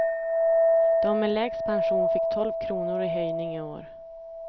De med lägst pension fick tolv kronor i höjning i år.